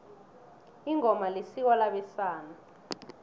ingoma isiko labesana